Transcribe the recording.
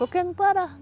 Porque não parava.